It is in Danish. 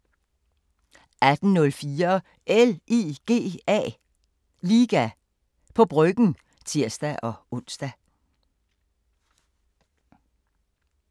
18:04: LIGA på Bryggen (tir-ons)